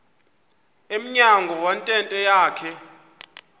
emnyango wentente yakhe